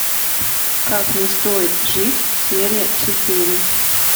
как не стоит жить серия четыре